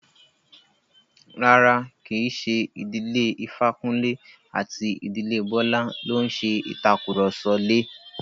Rárá, kí í ṣe ìdílé Ifákúnlé àti ìdílé Bọ́lá ló ń ṣe ìtàkurọ̀sọ lè.